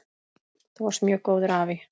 Þú varst mjög góður afi.